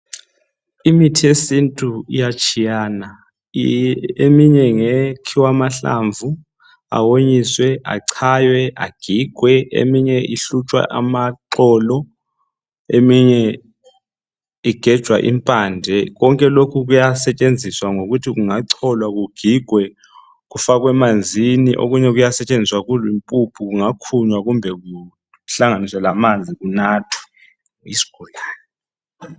Imithi yesintu iyatshiyana eminye ngekhiwa amahlamvu awonyiswe, achaywe agigwe. Eminye ihlutshwa amaxolo eminye igejwa impande. Konke lokhu kuyasetshenziswa ngokuthi kungacholwa kugigwe kufakwe emanzini. Okunye kuyasetshenziswa kuyimpuphu kungakhunywa kumbe kuhlanganiswe lamanzi kunathwe yisigulane.